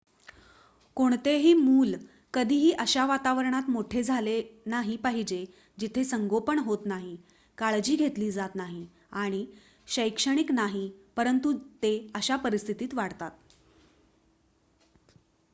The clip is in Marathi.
कोणतेही मूल कधीही अशा वातावरणात मोठे झाले नाही पाहिजे जिथे संगोपन होत नाही काळजी घेतली जात नाही आणि शैक्षणिक नाही परंतु ते अशा परिस्थितीत वाढतात